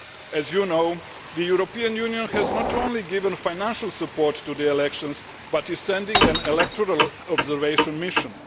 As you know, the European Union has not only given financial support to the elections but is sending an electoral observation mission.